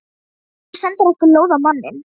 Af hverju sendirðu ekki lóð á manninn?